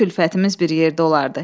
Bütün külfətimiz bir yerdə olardı.